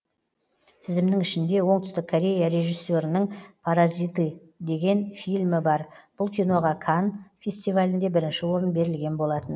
тізімнің ішінде оңтүстік корея режиссерінің паразиты деген фильмі бар бұл киноға канн фестивалінде бірінші орын берілген болатын